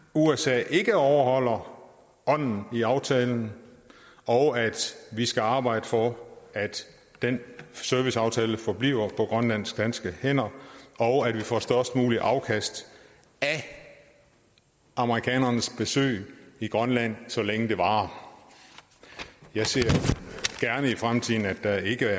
usa ikke overholder ånden i aftalen og at vi skal arbejde for at den serviceaftale forbliver på grønlandsk danske hænder og at vi får størst muligt afkast af amerikanernes besøg i grønland så længe det varer jeg ser gerne i fremtiden at der ikke